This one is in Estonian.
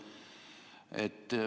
Palun!